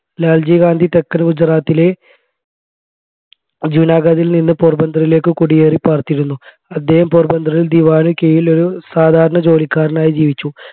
ലാൽജി ഗാന്ധി തെക്കൻ ഗുജറാത്തിലെ ജൂനാഗാദിൽ നിന്ന് പോർബന്ദറിലേക്ക് കുടിയേറി പാർത്തിരുന്നു അദ്ദേഹം പോർബന്ദറിൽ ദിവാന് കീഴിൽ ഒരു സാധാരണ ജോലിക്കാരനായി ജീവിച്ചു